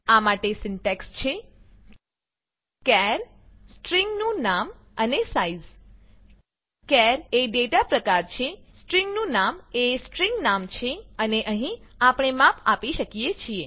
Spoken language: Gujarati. આ માટે સિન્ટેક્સ છે ચાર સ્ટ્રીંગ નું નામ અને સાઇઝ ચાર એ ડેટા પ્રકાર છેસ્ટ્રિંગ નું નામ એ સ્ટ્રિંગ નામ છે અને અહીં આપણે માપ આપી શકીએ છીએ